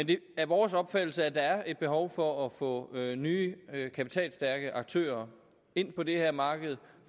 det er vores opfattelse at der er et behov for at få nye kapitalstærke aktører ind på det her marked